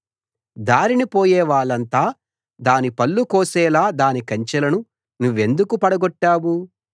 దారిన పోయేవాళ్ళంతా దాని పళ్ళు కోసేలా దాని కంచెలను నువ్వెందుకు పడగొట్టావు